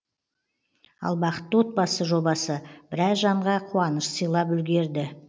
ал бақытты отбасы жобасы біраз жанға қуаныш сыйлап үлгерді